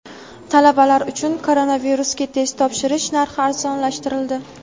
Talabalar uchun koronavirusga test topshirish narxi arzonlashtirildi.